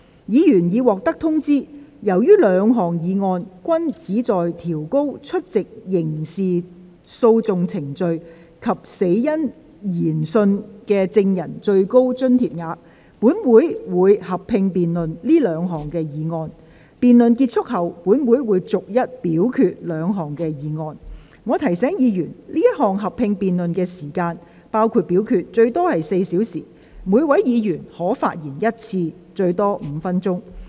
議員已獲得通知，由於兩項議案均旨在調高出席刑事訴訟程序及死因研訊的證人的最高津貼額，本會會合併辯論這兩項議案。辯論結束後，本會會逐一表決兩項議案。我提醒議員，這項合併辯論的時間，最多4小時，每位議員可發言一次，最多5分鐘。